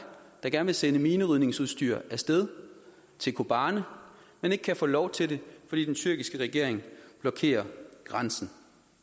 der gerne vil sende minerydningsudstyr af sted til kobane men ikke kan få lov til det fordi den tyrkiske regering blokerer grænsen